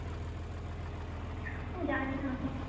জানিনা অত